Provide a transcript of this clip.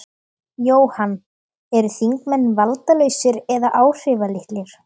Jóhann: Eru þingmenn valdalausir eða áhrifalitlir?